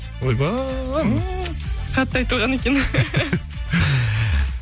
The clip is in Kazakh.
ойбай ммм қатты айтылған екен